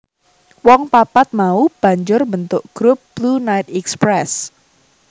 Wong papat mau banjur mbentuk grup Blue Night Express